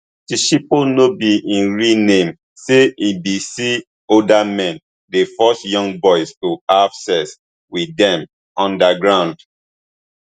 tshepo no be im real name say e bin see older men dey force young boys to have sex wit dem underground